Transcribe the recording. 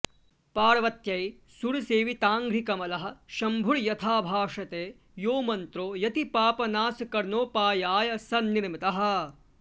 पार्वत्यै सुरसेविताङ्घ्रिकमलः शम्भुर्यथा भाषते यो मन्त्रो यतिपापनाशकरणोपायाय सन्निर्मितः